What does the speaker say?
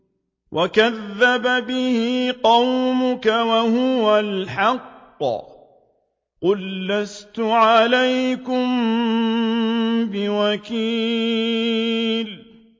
وَكَذَّبَ بِهِ قَوْمُكَ وَهُوَ الْحَقُّ ۚ قُل لَّسْتُ عَلَيْكُم بِوَكِيلٍ